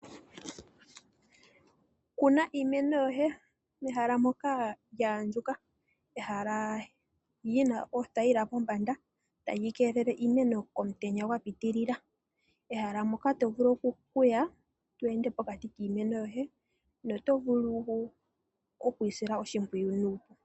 Kuna iimeno yoye pehala mpoka pwa andjuka ,pehala lina eethaila pombanda tali keelele iimeno komutenya gwa pitilila, ehala moka to vulu okuya to ende pokati kiimeno yoye notovulu okuyi sila oshipwiyu.